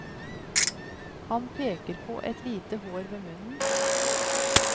Han peker på et lite hår ved munnen.